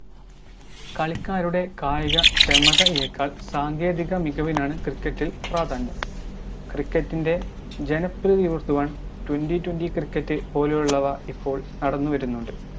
കളിക്കാരുടെ കായിക ക്ഷമതയെക്കാൾ സാങ്കേതിക മികവിനാണ് cricket ഇൽ പ്രാധാന്യം cricket ജനപ്രീതി കൂട്ടുവാൻ twenty twenty cricket പോലുള്ളവ ഇപ്പോൾ നടന്നുവരുന്നുണ്ട്